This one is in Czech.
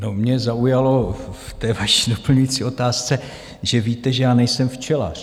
No, mě zaujalo v té vaší doplňující otázce, že víte, že já nejsem včelař.